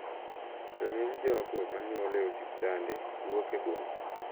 To ng`eny jogo manyuol e osiptande wuok e boma.